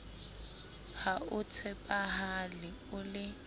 ha o tshepahale o le